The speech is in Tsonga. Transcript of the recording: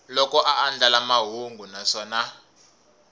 loko a andlala mahungu naswona